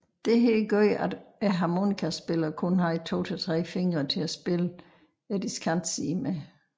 Dette gjorde at harmonikaspilleren kun havde 2 til 3 fingre til at spille diskantsiden med